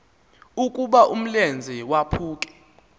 ukuba umlenze waphuke